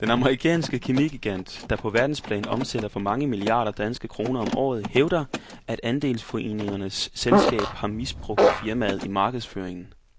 Den amerikanske kemigigant, der på verdensplan omsætter for mange milliarder danske kroner om året, hævder, at andelsforeningernes selskab har misbrugt firmaet i markedsføringen.